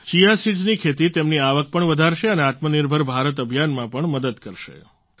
chia સિડ્સની ખેતી તેમની આવક પણ વધારશે અને આત્મનિર્ભર ભારત અભિયાનમાં પણ મદદ કરશે